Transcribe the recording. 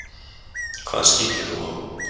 Hvað skýtur þú á?